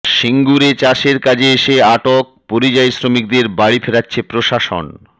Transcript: সিঙ্গুরে চাষের কাজে এসে আটক পরিযায়ী শ্রমিকদের বাড়ি ফেরাচ্ছে প্রশাসন